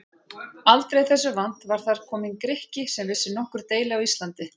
Aldrei þessu vant var þar kominn Grikki sem vissi nokkur deili á Íslandi!